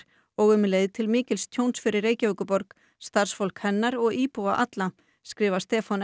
og um leið til mikils tjóns fyrir Reykjavíkurborg starfsfólk hennar og íbúa alla skrifar Stefán